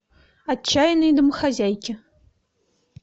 отчаянные домохозяйки